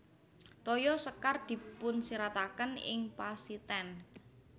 Toya sekar dipunsirataken ing pasitènd